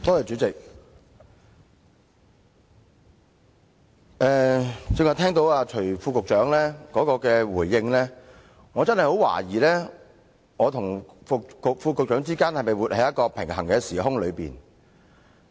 主席，最近聽到徐副局長的回應，我真的很懷疑我與副局長是否活在一個平衡的時空。